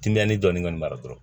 Timinandi kɔni mara dɔrɔn